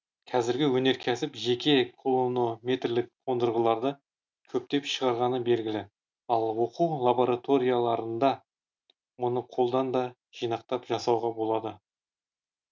қазіргі өнеркәсіп жеке кулонометрлік қондырғыларды көптеп шығарғаны белгілі ал оқу лабораторияларында мұны қолдан да жинақтап жасауға болады